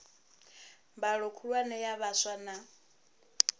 mbalo khulwane ya vhaswa na